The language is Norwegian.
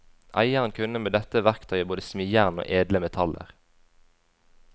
Eieren kunne med dette verktøyet både smi jern og edle metaller.